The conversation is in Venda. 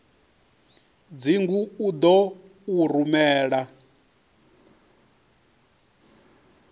dzingu u ḓo u rumela